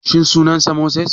Shin sunan sa Moses?